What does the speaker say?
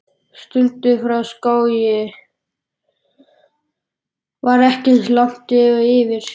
Sundið frá Skógey var ekki eins langt og yfir